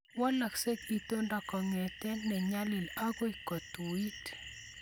Walaksei itondo kongete ne nyalil agoi kotuit